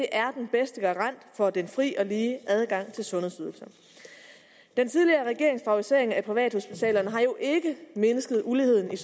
er den bedste garant for den fri og lige adgang til sundhedsydelser den tidligere regerings favorisering af privathospitalerne har jo ikke mindsket uligheden